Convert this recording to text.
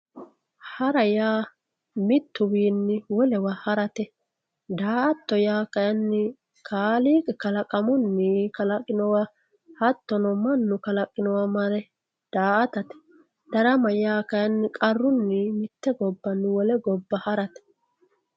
Hara yaa mittuwiinni wolewa harate. Daa"atto yaa kayinni kaaliiqi kalaqamunni kalaqinowa hattono mannu kalaqinowa mare daa"atate. Darama yaa kayinni qarunni mitte gobbanni wole gobba harate.